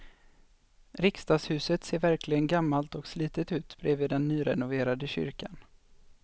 Riksdagshuset ser verkligen gammalt och slitet ut bredvid den nyrenoverade kyrkan.